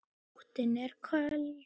Nóttin er köld.